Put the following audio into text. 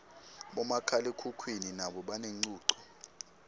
bomakhalekhukhwini nabo banencuco